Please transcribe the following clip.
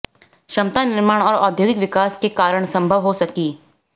क्षमता निर्माण और औद्योगिक विकास के कारण संभव हो सकी